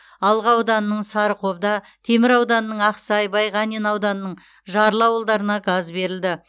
алға ауданының сарықобда темір ауданының ақсай байғанин ауданының жарлы ауылдарына газ берілді